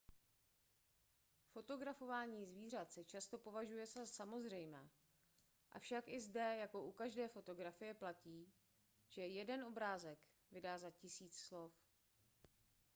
fotografování zvířat se často považuje za samozřejmé avšak i zde jako u každé fotografie platí že jeden obrázek vydá za tisíc slov